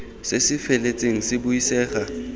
se se feletseng se buisega